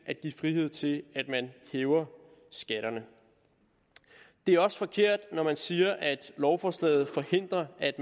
at give frihed til at man hæver skatterne det er også forkert når man siger at lovforslaget forhindrer at